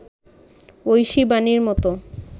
ঐশী বাণীর মতো